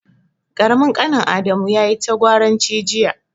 Ƙaramin ƙanin Adamu yayi ta gwaranci jiya.